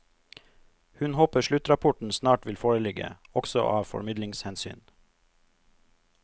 Hun håper sluttrapporten snart vil foreligge, også av formidlingshensyn.